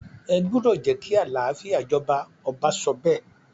ẹ gbúdọ̀ jẹ́ kí àlàáfíà jọba! ọba sọ bẹ́ẹ̀.